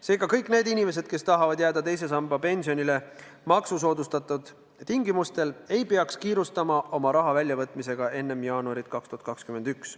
Seega kõik need inimesed, kes tahavad kasutada teise samba pensioniraha maksusoodustatud tingimustel, ei peaks kiirustama oma raha väljavõtmisega enne jaanuari 2021.